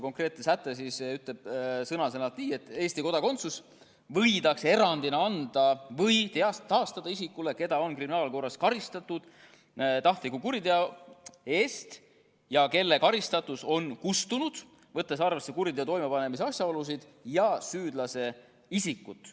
Konkreetne säte ütleb sõna-sõnalt nii: "Eesti kodakondsus võidakse erandina anda või taastada isikule, keda on kriminaalkorras korduvalt karistatud tahtlike kuritegude eest ja kelle karistatus on kustunud, võttes arvesse kuriteo toimepanemise asjaolusid ning süüdlase isikut.